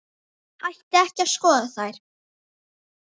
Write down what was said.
Ætti ekki að skoða þær?